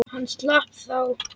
Hann slapp þá.